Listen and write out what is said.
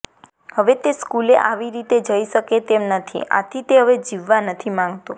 હવે તે સ્કૂલે આવી રીતે જઈ શકે તેમ નથી આથી તે હવે જીવવા નથી માંગતો